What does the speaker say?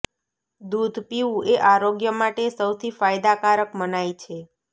દૂધ પીવું એ આરોગ્ય માટે સૌથી ફાયદાકારક મનાય છે